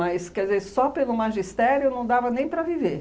quer dizer, só pelo magistério não dava nem para viver.